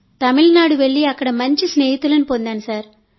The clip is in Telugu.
తమిళనాడు వెళ్ళి అక్కడ మంచి స్నేహితులను పొందాను